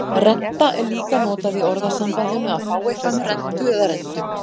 Renta er líka notað í orðasambandinu að fá eitthvað með rentu eða rentum.